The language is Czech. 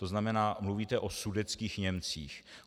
To znamená, mluvíte o sudetských Němcích.